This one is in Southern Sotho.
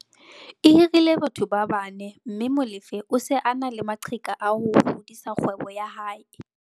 E hirile batho ba bane mme Molefe o se a na le maqheka a ho hodisa kgwebo ya hae.